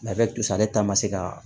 Ladiya tu sa ale ta ma se ka